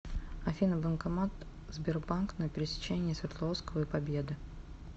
афина банкомат сбербанк на пересечении свердловского и победы